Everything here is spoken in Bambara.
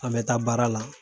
An bɛ taa baara la